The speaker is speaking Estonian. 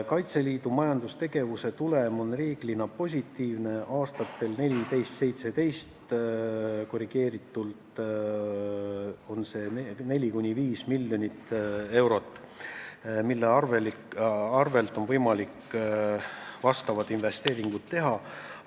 Kaitseliidu majandustegevuse tulem on reeglina positiivne, aastatel 2014–2017 on see korrigeeritult 4–5 miljonit eurot, mille arvel on võimalik vajalikud investeeringud teha.